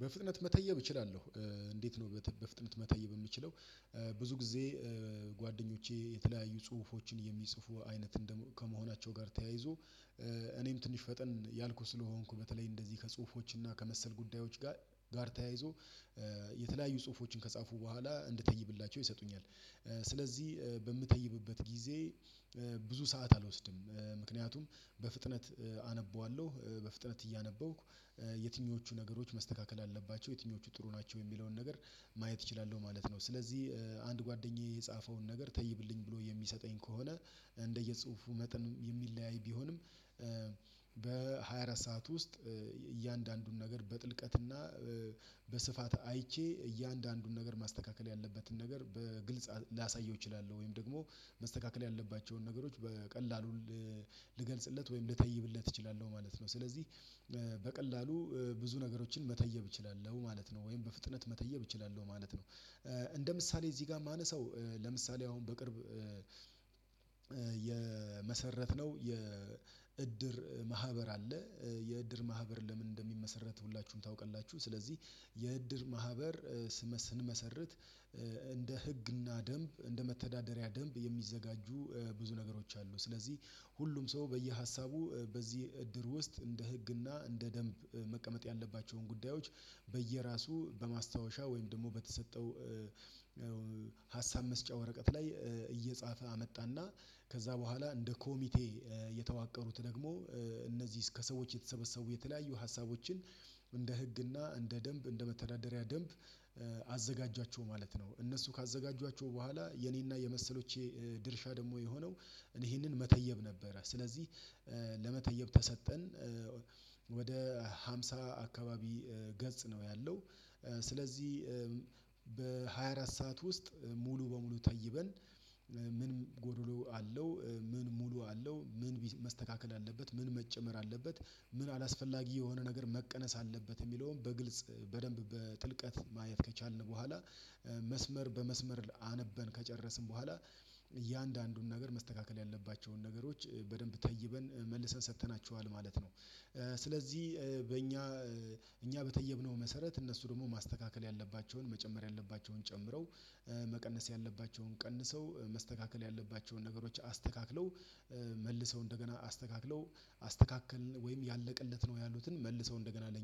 በፍጥነት መተየብ እችላለሁ። እንዴት ነው በፍጥነት መተየብ የምችለው? ብዙ ጊዜ ጓደኞቼ የተለያዩ ጽሁፎችን የሚጽፉ አይነት ከመሆናቸው ጋር ተያይዞ። እኔም ትንሽ ፈጠን ያልኩት ስለሆንኩ በተለይ እንደዚህ ከጽሁፎች እና ከመሰል ጉዳዮች ጋር ጋር ተያይዞ የተለያዩ ጽሁፎችን ከጻፉ በኋላ እንድትይብላቸው ይሰጡኛል። ስለዚህ በምተይብበት ጊዜ ብዙ ሰዓት አልወስድም ምክንያቱም በፍጥነት አነበዋለሁ በፍጥነት እያነበብኩ የትኞቹ ነገሮች መስተካከል አለባቸው የትኞቹ ጥሩ ናቸው የሚለውን ነገር ማየት እችላለሁ። ማለት ነው። ስለዚህ አንድ ጓደኛዬ የጻፈውን ነገር ተይብልኝ ብሎ የሚሰጠኝ ከሆነ እንደየጽሁፉ መጠን የሚለያይ ቢሆንም። በሃያ አራት ሰዓት ውስጥ እያንዳንዱን ነገር በጥልቀትና በስፋት አይቼ እያንዳንዱን ነገር ማስተካከል ያለበትን ነገር በግልጽ ላሳየው እችላለሁ። ወይም ደግሞ ማስተካከል ያለባቸውን ነገሮች በቀላሉ ልገልጽለት ወይም ልታይብለት እችላለሁ ማለት ነው። ስለዚህ በቀላሉ ብዙ ነገሮችን መተየብ እችላለሁ ማለት ነው። ወይም በፍጥነት መተየብ እችላለሁ ማለት ነው። እንደ ምሳሌ እዚህ ጋር የማነሳው ለምሳሌ አሁን በቅርብ የመሰረትነው የእድር ማህበር አለ። የእድር ማህበር ለምን እንደሚመሰረት ሁላችሁም ታውቀላችሁ። ስለዚህ የእድር ማህበር ስመስን መሰረት እንደ ህግና ደንብ እንደ መተዳደሪያ ደንብ የሚዘጋጁ ብዙ ነገሮች አሉ። ስለዚህ ሁሉም ሰው በየሀሳቡ በዚህ እድር ውስጥ እንደ ህግና እንደ ደንብ መቀመጥ ያለባቸውን ጉዳዮች በየራሱ በማስታወሻ ደግሞ በተሰጠው ሀሳብ መስጫ ወረቀት ላይ እየጻፈ አመጣና ከዛ በኋላ እንደ ኮሚቴ የተዋቀሩት ደግሞ እነዚህ እስከ ሰዎች የተሰበሰቡ የተለያዩ ሀሳቦችን እንደ ህግና እንደ ደንብ እንደ መተዳደሪያ ደንብ አዘጋጃቸው ማለት ነው። እነሱ ካዘጋጇቸው በኋላ የኔና የመሰሎቼ ድርሻ ደግሞ የሆነው እኔ ይሄንን መተየብ ነበረ ስለዚህ። ለመተየብ ተሰጠን ወደ ሃምሳ አካባቢ ገጽ ነው። ያለው ስለዚህ በሃያ አራት ሰዓት ውስጥ ሙሉ በሙሉ ተይበን። ምን ጎዶሎ አለው? ምን ሙሉ አለው? ምን መስተካከል አለበት? ምን መጨመር አለበት? ምን አላስፈላጊ የሆነ ነገር መቀነስ አለበት የሚለውን በግልጽ በደንብ በጥልቀት ማየት ከቻልን በኋላ በፍጥነት መተየብ እችላለሁ። እንዴት ነው በፍጥነት መተየብ የምችለው? ብዙ ጊዜ ጓደኞቼ የተለያዩ ጽሁፎችን የሚጽፉ አይነት ከመሆናቸው ጋር ተያይዞ እኔም ትንሽ ፈጠን ያልኩት ስለሆንኩ በተለይ እንደዚህ ከጽሁፎች እና ከመሰል ጉዳዮች ጋር ጋር ተያይዞ የተለያዩ ጽሁፎችን ከጻፉ በኋላ እንድትይብላቸው ይሰጡኛል። ስለዚህ በምተይብበት ጊዜ ብዙ ሰዓት አልወስድም ምክንያቱም በፍጥነት አነበዋለሁ በፍጥነት